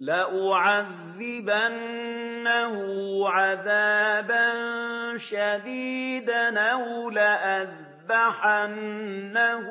لَأُعَذِّبَنَّهُ عَذَابًا شَدِيدًا أَوْ لَأَذْبَحَنَّهُ